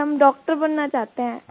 sir हम doctor बनना चाहते हैं